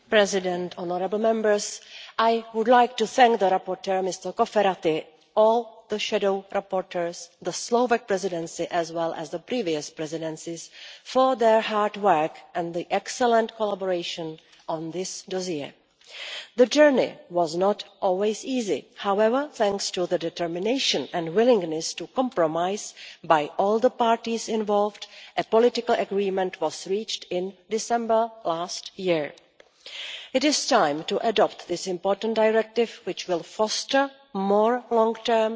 Mr President, I would like to thank the rapporteur, Mr Cofferati, all the shadow rapporteurs, the Slovak Presidency and the previous presidencies for their hard work and the excellent collaboration on this dossier. The journey was not always easy. However, thanks to the determination and willingness to compromise by all the parties involved, a political agreement was reached in December last year. It is time to adopt this important directive, which will foster more long-term,